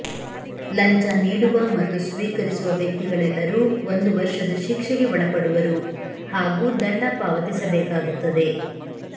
ಲಂಚ ನೀಡುವ ಮತ್ತು ಸ್ವೀಕರಿಸುವ ವ್ಯಕ್ತಿಗಳೆಲ್ಲರೂ ಒಂದು ವರ್ಷದ ಶಿಕ್ಷೆಗೆ ಒಳಪಡುವರು ಹಾಗೂ ದಂಡ ಪಾವತಿಸಬೇಕಾಗುತ್ತದೆ